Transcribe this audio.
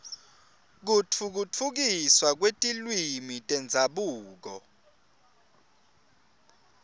kutfutfukiswa kwetilwimi tendzabuko